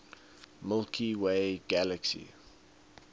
milky way galaxy